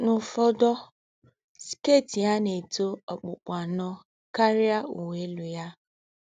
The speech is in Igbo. N’úfọ́dọ́, skét yá nà-ètó òkpùkpù ànọ́ kárìá úwé élú yá